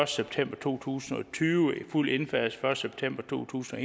september to tusind og tyve med fuld indfasning september to tusind og